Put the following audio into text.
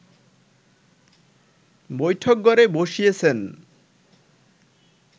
বৈঠকঘরে বসিয়েছেন